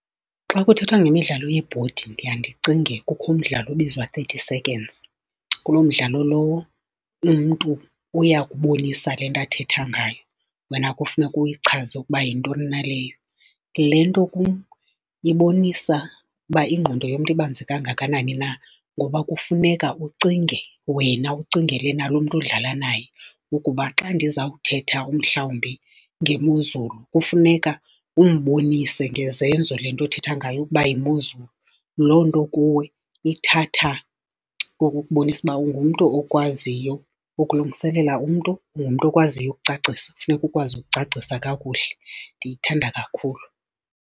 Xa kuthethwa ngemidlalo yebhodi ndiya ndicinge kukho umdlalo obizwa Thirty Seconds. Kuloo mdlalo lowo umntu uyakubonisa le nto athetha ngayo, wena kufuneka uyichaze ukuba yintoni na leyo. Le nto ibonisa uba ingqondo yomntu ibanzi kangakanani na ngoba kufuneka ucinge wena, ucingele nalo mntu udlala naye ukuba xa ndiza kuthetha umhlawumbi ngemozulu, kufuneka umbonise ngezenzo le nto uthetha ngayo ukuba yimozulu. Loo nto kuwe ithatha ukukubonisa uba ungumntu okwaziyo ukulungiselela umntu, ungumntu okwaziyo ukucacisa, kufuneka ukwazi ukucacisa kakuhle. Ndiyithanda kakhulu.